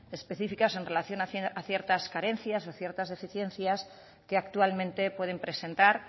especificas en relación a ciertas carencias o ciertas deficiencias que actualmente pueden presentar